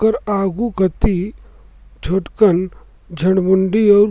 ओकर आगू कती छोटकन झड़मुंडी अउर --